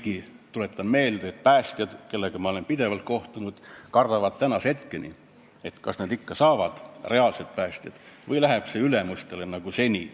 Samas tuletan meelde, et reaalsed päästjad, kellega ma olen pidevalt kohtunud, kardavad tänase hetkeni, kas nad ikka saavad palgalisa või läheb see raha ülemustele nagu seni.